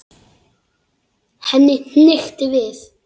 Henni hnykkti við.